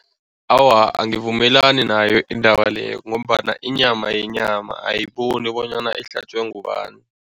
Awa, angivumelani nayo indaba leyo ngombana inyama yinyama, ayiboni bonyana ihlatjwe ngubani.